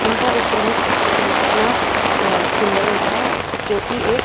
इनका एक प्रमुख अपना अ सिंबल होता है जो की एक--